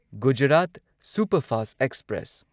Gujarat superfast express